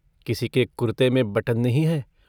किसी के कुरते में बटन नहीं है।